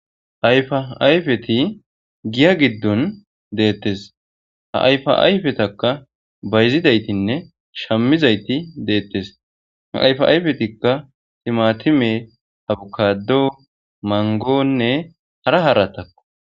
Ayfa ayfeti giya giddon deettes ha ayfa ayfetakka bayzidaytinne shammizayti deettes ayfa ayfetikka timatime habukado mangonne hara haratakko.